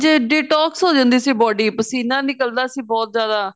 ਤੇ detox ਹੋ ਜਾਂਦੀ ਸੀ body ਪਸੀਨਾ ਨਿਕਲਦਾ ਸੀ ਬਹੁਤ ਜਿਆਦਾ